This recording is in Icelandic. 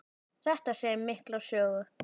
Þetta segir mikla sögu.